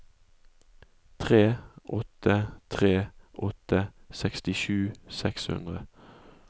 tre åtte tre åtte sekstisju seks hundre